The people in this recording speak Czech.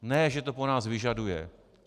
Ne že to po nás vyžaduje!